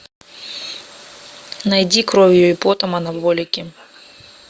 найди кровью и потом анаболики